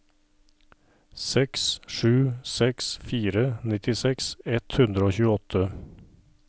seks sju seks fire nittiseks ett hundre og tjueåtte